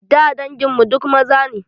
Da dangin mu duk maza ne.